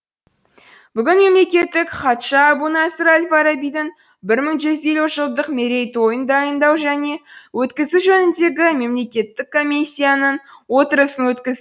бүгін мемлекеттік хатшы әбу насыр әл фарабидің мың бір жүз елусінші жылдық мерейтойын дайындау және өткізу жөніндегі мемлекеттік комиссияның отырысын өткізді